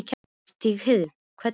Stígheiður, hvernig er veðrið í dag?